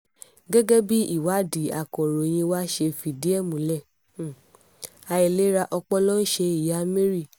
gẹ́gẹ́ bí ìwádìí akọ̀ròyìn wa ṣe fìdí ẹ̀ múlẹ̀ àìlera ọpọlọ ń ṣe ìyá mary